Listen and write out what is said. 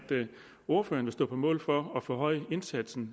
ordføreren vil stå på mål for at forhøje indsatsen